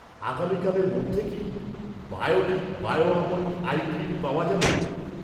আগামীকালের মধ্যে কি, Biotique bio almond eye cream পাওয়া যাবে?